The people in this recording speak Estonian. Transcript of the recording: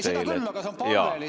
Seda küll, aga see on lihtsalt palve.